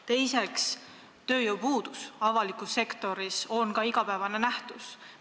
Teiseks, tööjõupuudus avalikus sektoris on ka igapäevane nähtus.